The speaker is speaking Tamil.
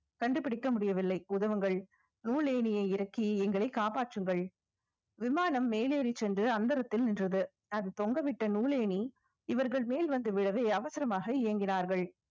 கண்டுபிடிக்க முடியவில்லை உதவுங்கள் ஏணியை இறக்கி எங்களை காப்பாற்றுங்கள் விமானம் மேலேறி சென்று அந்தரத்தில் நின்றது அது தொங்கவிட்ட நூலேணி இவர்கள் மேல் வந்து விழவே அவசரமாக இயங்கினார்கள்